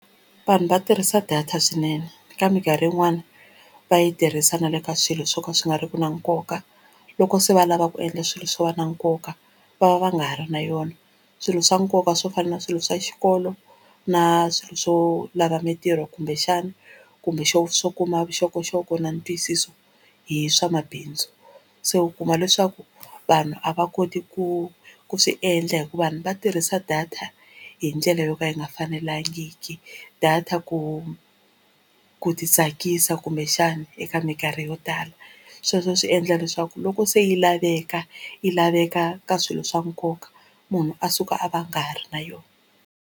Vanhu va tirhisa data swinene ka mikarhi yin'wani va yi tirhisa na le ka swilo swo ka swi nga ri ki na nkoka loko se va lava ku endla swilo swo va na nkoka va va va nga ha ri na yona swilo swa nkoka swo fana na swilo swa xikolo na swilo swo lava mitirho kumbexana kumbe swo kuma vuxokoxoko na ntwisiso hi swamabindzu se u kuma leswaku vanhu a va koti ku ku swi endla hikuva vanhu va tirhisa data hi ndlela yo ka yi yi nga fanelangiki data ku ku ti tsakisa kumbexani eka minkarhi yo tala sweswo swi endla leswaku loko se yi laveka yi laveka ka swilo swa nkoka munhu a suka a va a nga ha ri na yona.